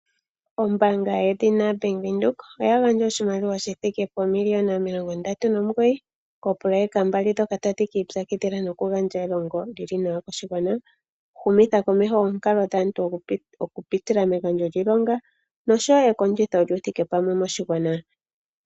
Ombaanga yedhina Bank Windhoek oya gandja oshimaliwa shi thike poomiliyona omilongo ndatu nomugoyi koopoloyeka mbali ndhoka tadhi ki ipyakidhila noku gandja elongo lyili nawa koshigwana, humitha komeho oonkalo dhaantu oku pitila megandjo lyiilonga noshowo ekondjitho lyuuthike pamwe moshigwana.